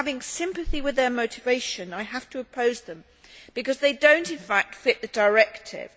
While having sympathy with their motivation, I have to oppose them because they do not in fact fit the directive.